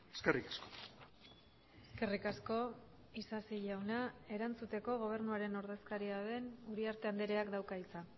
eskerrik asko eskerrik asko isasi jauna erantzuteko gobernuaren ordezkaria den uriarte andreak dauka hitza